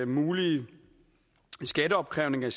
mulige skatteopkrævning